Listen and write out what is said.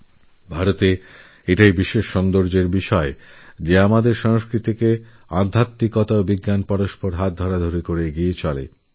আমাদের ভারতবর্ষের এই এক আশ্চর্য সুন্দরসহাবস্থান যেখানে আমাদের সংস্কৃতির আধ্যাত্মিকতা ও বিজ্ঞান একে অন্যেরপরিপূরক